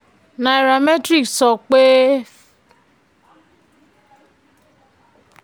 Nairametric sọ pé